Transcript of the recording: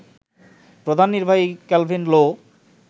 প্রধান নির্বাহী কেলভিন লো